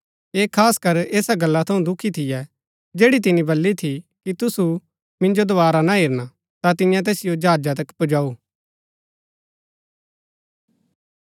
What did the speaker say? ऐह खासकर ऐसा गल्ला थऊँ दुखी थियै जैड़ी तिनी बली थी कि तुसु मिन्जो दोवारा ना हेरना ता तिन्ये तैसिओ जहाजा तक पुजाऊ